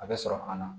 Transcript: A bɛ sɔrɔ an na